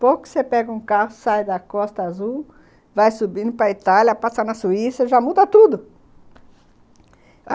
Pouco que você pega um carro, sai da Costa Azul, vai subindo para a Itália, passa na Suíça, já muda tudo.